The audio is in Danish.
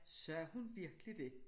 Sagde hun virkelig dét?